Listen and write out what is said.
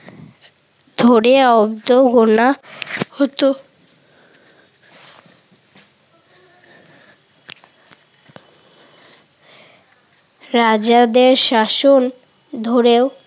ধরে অব্দ গোনা হতো। রাজাদের শাসন ধরেও